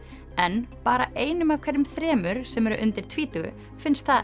en bara einum af hverjum þremur sem eru undir tvítugu finnst